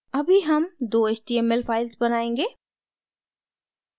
अभी हम दो html files बनायेंगे